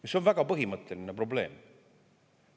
See on väga põhimõtteline probleem.